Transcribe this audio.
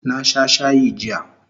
Na sha shayi jiya